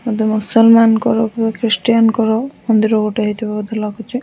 ବୋଧେ ମୁସଲମାନଙ୍କର କିବା ଖ୍ରୀଷ୍ଟିଆନ ଙ୍କର ମନ୍ଦିର ଗୋଟେ ହେଇଥିବା ବଧେ ଲାଗୁଚି।